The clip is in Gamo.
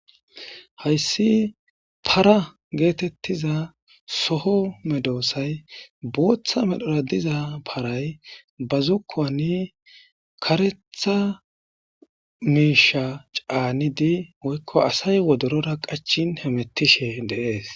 Haysi para getetiza soo medosayi bootha medhora diza paray ba zokuwan karetha miiisha caanidi woyko asayi wodorora qachin hametishe de'esi.